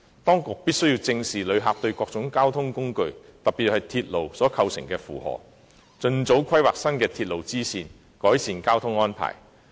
當局必須正視旅客對各種交通工具，特別是對鐵路所構成的負荷，盡早規劃新的鐵路支線，改善交通安排。